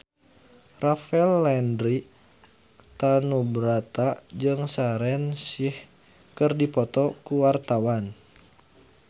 Rafael Landry Tanubrata jeung Shaheer Sheikh keur dipoto ku wartawan